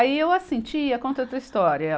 Aí, eu assim, tia, conta outra história.